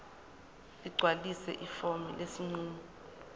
ligcwalise ifomu lesinqumo